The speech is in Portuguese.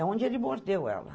A onde ele mordeu ela.